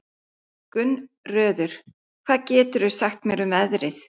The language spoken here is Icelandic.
Gunnröður, hvað geturðu sagt mér um veðrið?